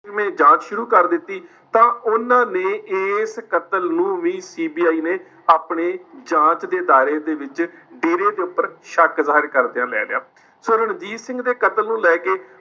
ਮੈਂ ਜਾਂਚ ਸ਼ੁਰੂ ਕਰ ਦਿੱਤੀ ਤਾਂ ਉਨ੍ਹਾਂ ਨੇ ਇਸ ਕਤਲ ਨੂੰ ਵੀ CBI ਨੇ ਆਪਣੇ ਜਾਂਚ ਦੇ ਦਾਇਰੇ ਦੇ ਵਿੱਚ ਡੇਰੇ ਦੇ ਉੱਪਰ ਸ਼ੱਕ ਜ਼ਹਿਰ ਕਰ ਦਿਆ ਲੈ ਲਿਆ। ਸੋ ਰਣਜੀਤ ਸਿੰਘ ਦੇ ਕਤਲ ਨੂੰ ਲੇ ਕੇ